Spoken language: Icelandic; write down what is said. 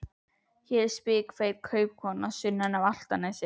Hér er spikfeit kaupakona sunnan af Álftanesi.